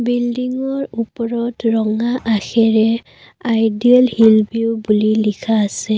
বিল্ডিংৰ ওপৰত ৰঙা আখেৰে আইডিয়েল হিল ভিউ বুলি লিখা আছে।